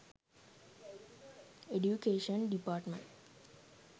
education department